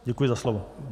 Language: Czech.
Děkuji za slovo.